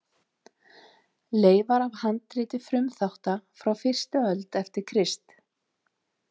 Leifar af handriti Frumþátta frá fyrsta öld eftir Krist.